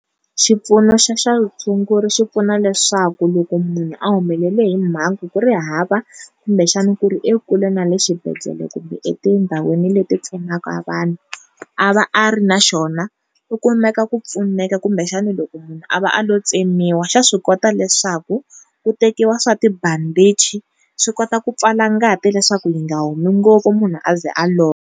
Xipfuno xa swa vutshunguri xi pfuna leswaku loko munhu a humelela hi mhangu ku ri hava kumbexani ku ri ekule na le xibedhlele kumbe etindhawini leti pfunaka vanhu a va a ri na xona u kumeka ku pfuneka kumbexani loko munhu a va a lo tsemiwa xa swi kota leswaku ku tekiwa swa tibandhichi swi kota ku pfala ngati leswaku yi nga humi ngopfu munhu a za a lova.